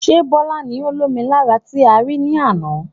Ṣé Bọlá ni ó lomi lára tí a rí ní àna?